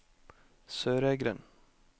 Søreidgrend